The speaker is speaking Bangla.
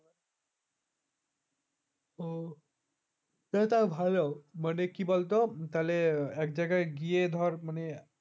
ও ওটা ভালো মানে কি বলতো তাহলে এক জায়গায় গিয়ে ধর মানে